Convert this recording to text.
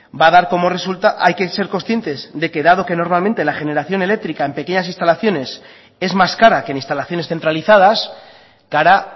va a dar como resultado hay que ser conscientes de que dado que normalmente la generación eléctrica en pequeñas instalaciones es más cara que en instalaciones centralizadas cara